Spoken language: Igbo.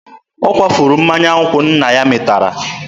Ọ kwafuru mmanya nkwụ nna ya mịtara.